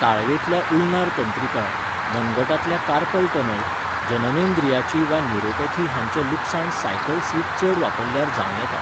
ताळवेंतल्या ulnar तंत्रिका, मनगटांतल्या carpal tunnel, जननेंद्रियाची वा न्यूरोपॅथी हांचें लुकसाण सायकल सीट चड वापरल्यार जावं येता.